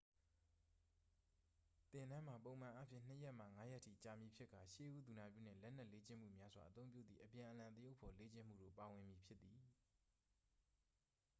သင်တန်းမှာ ပုံမှန်အားဖြင့် 2 ရက်မှ 5 ရက်ထိ ကြာမည်ဖြစ်ကာ ရှေးဦးသူနာပြုနှင့် လက်နက်လေ့ကျင့်မှုများစွာ အသုံးပြုသည့် အပြန်အလှန်သရုပ်ဖော်လေ့ကျင့်မှုတို့ ပါဝင်မည် ဖြစ်သည်